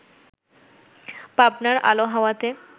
পাবনার আলো-হাওয়াতে